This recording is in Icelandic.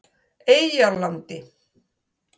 Eyjarlandi